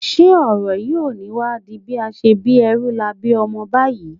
Ǹjẹ́ ọ̀rọ̀ yìí ò ní wá di bí a ṣe bí ẹrú la bí ọmọ báyìí?